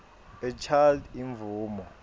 a child imvumo